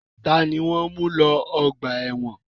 Ta ni wọ́n ń mú lọ ọgbà ẹ̀wọ̀n?